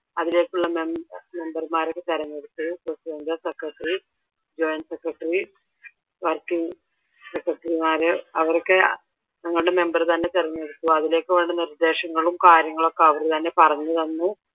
അതിലേക്കുള്ള മെമ്പർമാരെ ഒക്കെ തെരഞ്ഞെടുത്തു പ്രഡിഡന്റ്, സെക്രെട്ടറി, ജോയിന്റ് സെക്രെട്ടറിമാർ അവരൊക്കെ ഞങ്ങളുടെ മെമ്പർ തന്നെ തെരഞ്ഞെടുത്തു അതിലേക്ക് വേണ്ട നിർദേശങ്ങളും കാര്യങ്ങളൊക്കെ അവരുതന്നെ പറഞ്ഞുതന്നു.